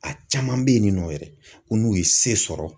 A caman bɛ yen nin nɔ yɛrɛ, ko n'u ye se sɔrɔ